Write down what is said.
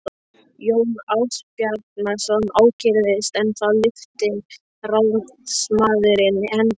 Jón Ásbjarnarson ókyrrðist en þá lyfti ráðsmaðurinn hendi og sagði